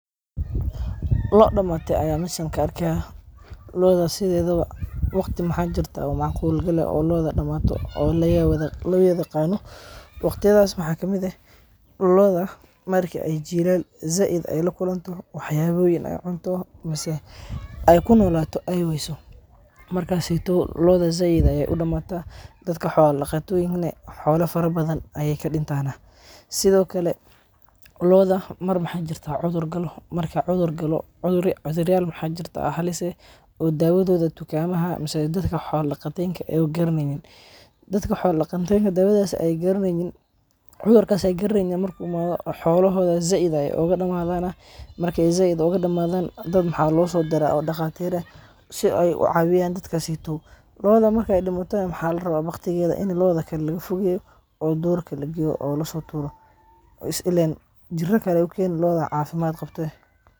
Loo damate ayan meshan kaarkaya, looda sidedawa wagti maxa jirta oo macqul qaal eh oo looda damato, oo lowadayagano, wagtiyadas waxa kamid eh, looda marki ay jilal zaid ay lakunto waxyayoyin ay cunto mise ay kunolato ay wayso, markas seytow loodaa zaid ayay udamata, dadka xoola dagatoyink nah xoola farabada aya kadintana, sidhokale looda mar maxa jirta cudur gaalo, marka cudur gaalo cuduryaal maxa jirta halis eh, oo dawadoda tukamaxa mise dadka xoola dagateynka ah garaneynin, dadka xoola dagateynka dawadas ay garaneyni, cudurkas ay garaneynin marku imada xoolaxoda zaid ayay ugadamadana, markay zaid ugadamadan dad maxa losodira daqatir ah, si ay ucawiyan dadka seytow, looda markay dimato maxa larawa baqtigeda ini looda kale lagafogeyo, oo durka lageyo, oo lasoturo, coz illen jira kale ayay ukeni looda cafimad qabtee.